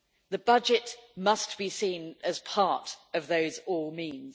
The budget must be seen as part of those all means'.